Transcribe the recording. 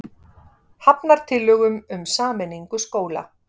Hafnar tillögum um samningu skóla